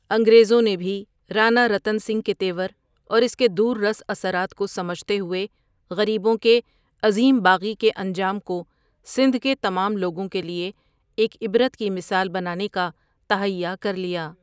انگریزوں نےبھی رانا رتن سنگھ کےتیور اور اس کےدور رس اثرات کوسمجھتےہوئے غریبوں کےعظیم باغی کے انجام کو سندھ کےتمام لوگوں کےلئےایک عبرت کی مثال بنانےکا تہیہ کر لیا۔